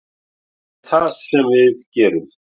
Það er einmitt það sem við gerðum.